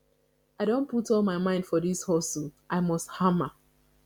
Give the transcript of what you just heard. i don put all my mind for dis hustle i must hama